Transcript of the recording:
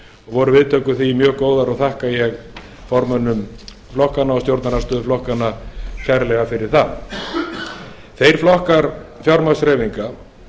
voru viðtökur við því að sjálfsögðu mjög góðar og þakka ég fyrir það til vara þeir flokkar fjármagnshreyfinga